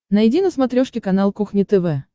найди на смотрешке канал кухня тв